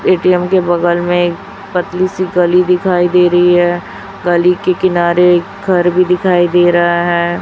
ATM के बगल में पतली सी गली दिखाई दे रही है गली के किनारे घर भी दिखाई दे रहा है।